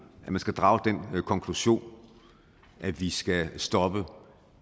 at man skal drage den konklusion at vi skal stoppe